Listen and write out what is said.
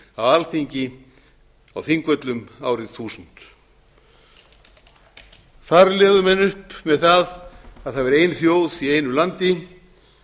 alþingi á þingvöllum árið þúsund þar lögðu menn upp með það að það væri ein þjóð í einu landi